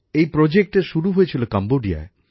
এই প্রকল্প শুরু হয়েছিল কম্বোডিয়ায়